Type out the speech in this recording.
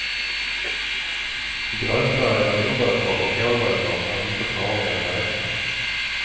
Grönfärgade morötter och kålrötter är inte farliga att äta.